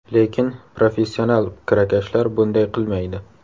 Lekin professional kirakashlar bunday qilmaydi.